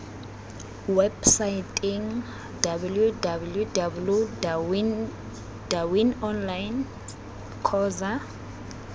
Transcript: websaeteng www dawineonline co za